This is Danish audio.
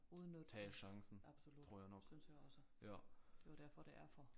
Udnytte det absolut synes jeg også det er jo derfor det er for